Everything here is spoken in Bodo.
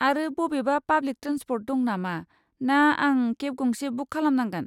आरो बबेबा पाब्लिक ट्रेन्सपर्ट दं नामा ना आं केब गंसे बुक खालामनांगोन?